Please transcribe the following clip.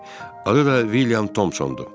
Adı da William Tomsondu.